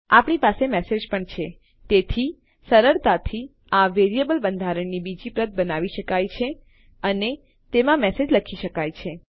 આપણી પાસે મેસેજ પણ છે તેથી સરળતાથી આ વેરીએબલ બંધારણની બીજી પ્રત બનાવી શકાય છે અને તેમાં મેસેજ લખી શકાય છે